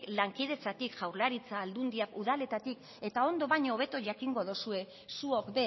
lankidetzatik jaurlaritza aldundiak udaletatik eta ondo baino hobeto jakingo dozue zuok